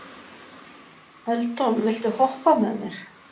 Eldon, viltu hoppa með mér?